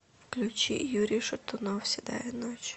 включи юрий шатунов седая ночь